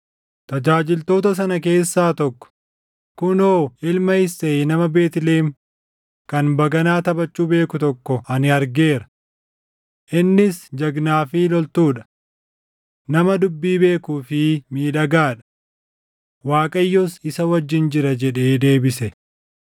Tajaajiltoota sana keessaa tokko, “Kunoo ilma Isseey nama Beetlihem kan baganaa taphachuu beeku tokko ani argeera. Innis jagnaa fi loltuu dha. Nama dubbii beekuu fi miidhagaa dha. Waaqayyos isa wajjin jira” jedhee deebise.